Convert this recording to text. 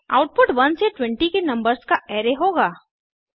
output 1 से 20 के numbers का अराय होगा